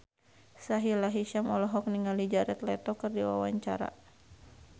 Sahila Hisyam olohok ningali Jared Leto keur diwawancara